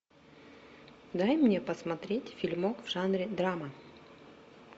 дай мне посмотреть фильмок в жанре драма